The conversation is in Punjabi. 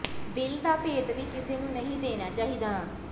ਦਿਲ ਦਾ ਭੇਤ ਵੀ ਕਿਸੇ ਨੂੰ ਨਹੀਂ ਦੇਣਾ ਚਾਹੀਦਾ